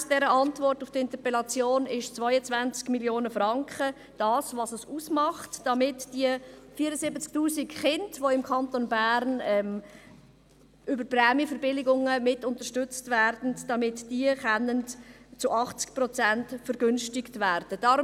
Gemäss Antwort auf die Interpellation macht es 22 Mio. Franken aus, damit die Prämien der 74 000 Kinder, die im Kanton Bern über Prämienverbilligungen mit unterstützt werden, um 80 Prozent vergünstigt werden können.